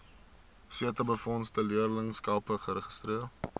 setabefondse leerlingskappe geregistreer